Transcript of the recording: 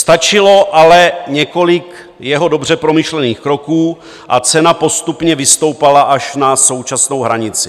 Stačilo ale několik jeho dobře promyšlených kroků a cena postupně vystoupala až na současnou hranici.